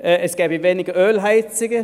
Es gebe weniger Ölheizungen: